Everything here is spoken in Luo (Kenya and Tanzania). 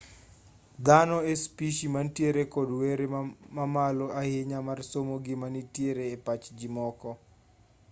dhano e spishi mantiere kod were mamalo ahinya mar somo gima nitiere e pach jimoko